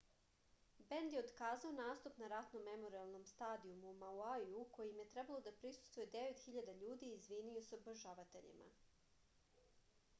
bend je otkazao nastup na ratnom memorijalnom stadijumu u mauiju kom je trebalo da prisustvuje 9000 ljudi i izvinio se obožavateljima